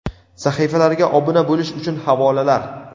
Sahifalarga obuna bo‘lish uchun havolalar:.